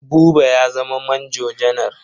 Buba ya zama manjo janar.